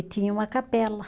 E tinha uma capela.